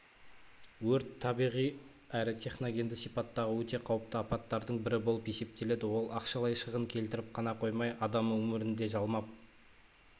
өрт табиғи әрі техногенді сипаттағы өте қауіпті апаттардың бірі болып есептеледі ол ақшалай шығын келтіріп қана қоймай адам өмірін де жалмап